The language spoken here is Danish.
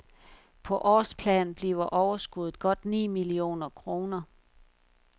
På årsplan bliver overskudet godt ni millioner kroner.